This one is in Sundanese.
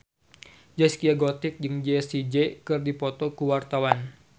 Zaskia Gotik jeung Jessie J keur dipoto ku wartawan